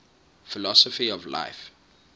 philosophy of life